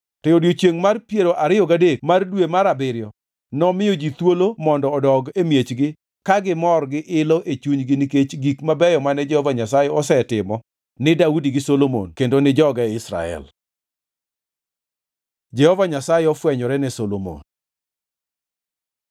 To odiechiengʼ mar piero ariyo gadek mar dwe mar abiriyo nomiyo ji thuolo mondo odog e miechgi ka gimor gi ilo e chunygi nikech gik mabeyo mane Jehova Nyasaye osetimo ni Daudi gi Solomon kendo ni joge Israel. Jehova Nyasaye ofwenyore ne Solomon